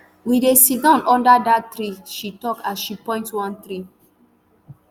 we dey sidon under dat tree she tok as she point one tree